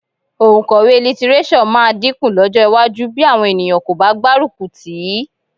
Òǹkọ̀wé lítíréṣọ̀ máa dínkù lọ́jọ́ iwájú bí àwọn ènìyàn kò bá gbárùkù tì í